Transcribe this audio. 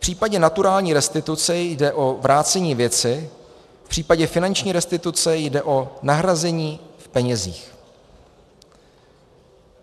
V případě naturální restituce jde o vrácení věci, v případě finanční restituce jde o nahrazení v penězích.